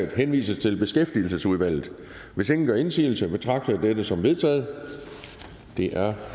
henvises til beskæftigelsesudvalget hvis ingen gør indsigelse betragter jeg dette som vedtaget det er